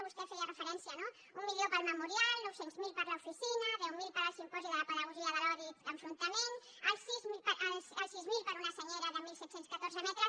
vostè hi feia referència un milió per al memorial nou cents miler per a l’oficina deu mil per al simposi de la pedagogia de l’odi i l’enfrontament els sis mil per a una senyera de disset deu quatre metres